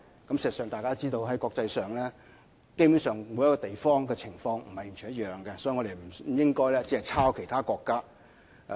事實上，大家也知道，基本上每一個地方的情況也不會完全一樣，所以我們不應該只是仿效其他國家。